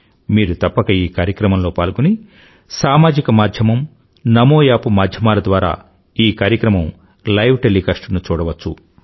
మీరు తప్పక ఈ కార్యక్రమంలో పాల్గొని సామాజిక మాధ్యమం నమో యాప్ మాధ్యమాల ద్వారా ఈ కార్యక్రమం లైవ్ టెలీకాస్ట్ ను చూడవచ్చు